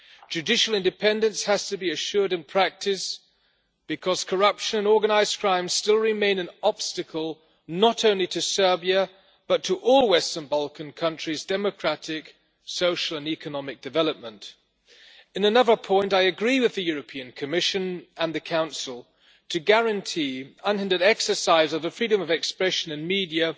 Judicial independence has to be assured in practice, because corruption and organised crime still remain an obstacle not only to Serbia, but to all western Balkan countries' democratic, social and economic development. On another point, I agree with the European Commission and the Council that, to guarantee unhindered exercise of the freedom of expression and media,